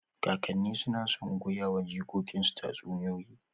Kakanni suna son goyawa jikokinsu tatsuniyoyi.